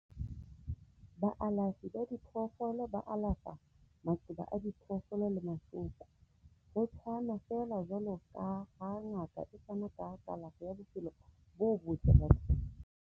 Baalafi ba diphoofolo ba alafa maqeba a diphoofolo le mahloko, ho tshwana feela jwaloka ha ngaka e fana ka kalafo ya bophelo bo botle bathong.